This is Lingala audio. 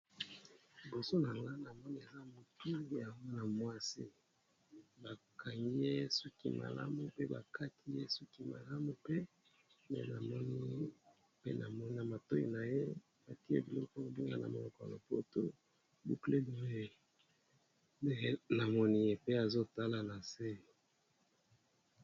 Bazo lakisa biso mutu ya mwasi ba Sali ye modele ya kitoko ya suki, mwasi yango azo tala na se.